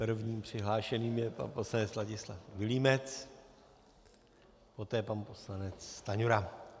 Prvním přihlášeným je pan poslanec Vladislav Vilímec, poté pan poslanec Stanjura.